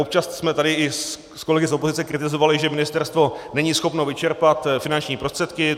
Občas jsme tady i s kolegy z opozice kritizovali, že ministerstvo není schopno vyčerpat finanční prostředky.